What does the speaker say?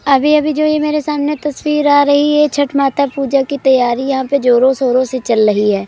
अभी अभी जो ये मेरे सामने जो तस्वीर आ रही है छठ माता की पूजा की तैयारि यहाँ पे जोरो शोरो से चल रही है।